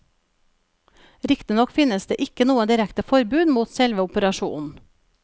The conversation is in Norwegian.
Riktignok finnes det ikke noe direkte forbud mot selve operasjonen.